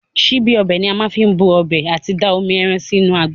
Síbí ọbẹ̀ ni a má fi n bu ọbẹ̀ àti da omi ẹran sí inú àgbá.